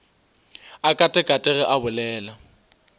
a katakate ge a bolela